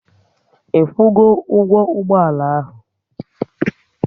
Ikwu go ụgwọ ụgbọala ahụ?